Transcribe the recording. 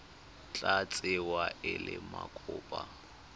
tla tsewa e le mokopa